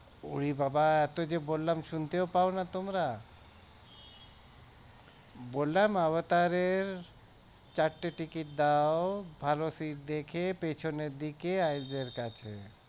ওরে বাবাহ এতো যে বললাম শুনতেও পাওনা তোমরা বললাম avatar এর চারটে ticket দাও ভালো sit দেখে পিছনের দিকে আইসার কাছে